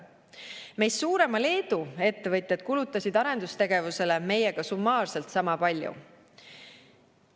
Meist suurema Leedu ettevõtjad kulutasid arendustegevusele meiega summaarselt sama palju.